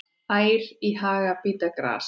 Ær í haga bíta gras.